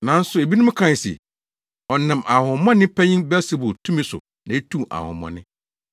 Nanso ebinom kae se, “Ɔnam ahonhommɔne panyin Beelsebul tumi so na etu ahonhommɔne.”